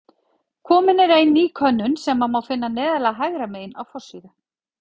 Komin er inn ný könnun sem má finna neðarlega hægra megin á forsíðu.